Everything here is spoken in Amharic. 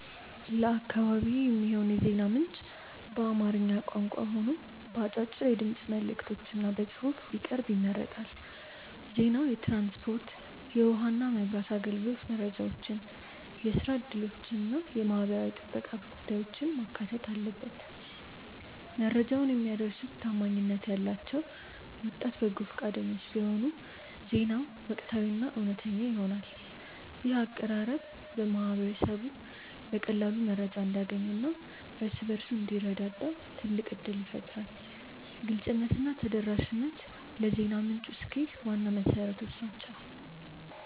ለአካባቢዬ የሚሆን የዜና ምንጭ በአማርኛ ቋንቋ ሆኖ በአጫጭር የድምፅ መልዕክቶችና በጽሑፍ ቢቀርብ ይመረጣል። ዜናው የትራንስፖርት፣ የውኃና መብራት አገልግሎት መረጃዎችን፣ የሥራ ዕድሎችንና የማኅበራዊ ጥበቃ ጉዳዮችን ማካተት አለበት። መረጃውን የሚያደርሱት ታማኝነት ያላቸው ወጣት በጎ ፈቃደኞች ቢሆኑ ዜናው ወቅታዊና እውነተኛ ይሆናል። ይህ አቀራረብ ማኅበረሰቡ በቀላሉ መረጃ እንዲያገኝና እርስ በርሱ እንዲረዳዳ ትልቅ ዕድል ይፈጥራል። ግልጽነትና ተደራሽነት ለዜና ምንጩ ስኬት ዋና መሠረቶች ናቸው።